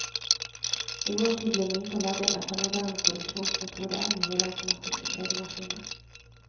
I vår tid blir mynter laget etter moderne produksjonsmetoder med helautomatiske pregemaskiner.